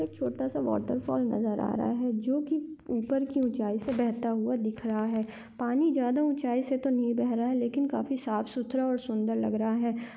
एक छोटा सा वॉटरफॉल नजर आ रहा है जो की ऊपर की ऊँचाई से बहता हुआ दिख रहा है पानी ज्यादा ऊँचाई से तो नही बह रहा है लेकिन काफी साफ सुथरा और सुंदर लग रहा है।